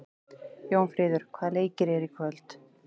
Jónfríður, hvaða leikir eru í kvöld?